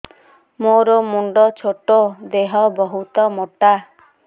ମୋର ମୁଣ୍ଡ ଛୋଟ ଦେହ ବହୁତ ମୋଟା